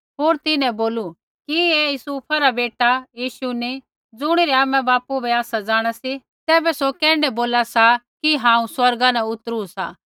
होर तिन्हैं बोलू कि ऐ यूसुफ रा बेटा यीशु नी ज़ुणिरै आमा बापू बै आसै जाँणा सी तैबै सौ कैण्ढै बोला सा कि हांऊँ स्वर्गा न उतरु सा